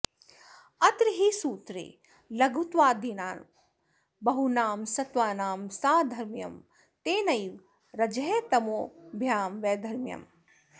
अत्र हि सूत्रे लघुत्वादिना बहूनां सत्त्वानां साधर्म्यं तेनैव रजस्तमोभ्यां वैधर्म्यम्